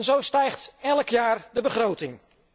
Zo stijgt elk jaar de begroting.